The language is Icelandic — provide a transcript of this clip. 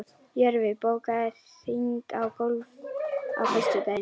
Jörfi, bókaðu hring í golf á föstudaginn.